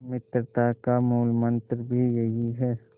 मित्रता का मूलमंत्र भी यही है